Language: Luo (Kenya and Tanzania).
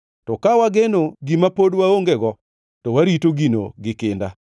To ka wageno gima pod waongego to warito gino gi kinda.